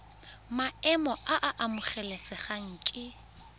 maemo a a amogelesegang ke